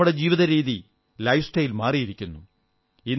എന്നാൽ നമ്മുടെ ജീവിതശൈലി ലൈഫ്സ്റ്റൈൽ മാറിയിരിക്കുന്നു